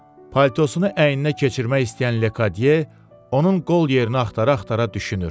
Paltosunu əyninə keçirmək istəyən Lekadiye onun qol yerini axtara-axtara düşünür.